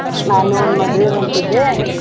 ನಾನು ಒಂದ್ ಮದ್ವೆಗ್ ಹೊಂಟಿದ್ದೇ.